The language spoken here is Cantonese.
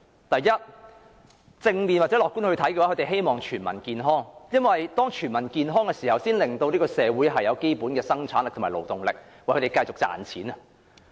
第一，從正面或樂觀的角度看，他們希望全民健康，因為這才可令社會有基本的生產力和勞動力，繼續為他們賺錢。